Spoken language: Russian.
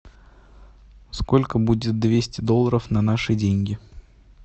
сколько будет двести долларов на наши деньги